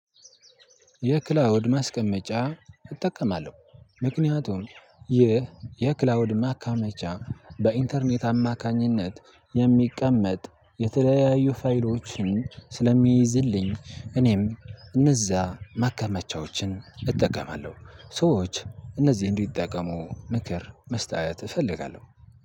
የክላውድ ማስቀመጫ እጠቀማለሁ ምክንያቱም ይህ የክላውድ ማከማጫ በኢንተርኔት አማካኝነት የሚቀመጥ የተለያዩ ፋይሎችን ስለሚይዝልኝ እኔም እነዛ ማከመቻዎችን እጠቀማለሁ። ሰዎች እነዚህን እንዲጠቀሙ ምክር መስጠት እፈልጋለሁ።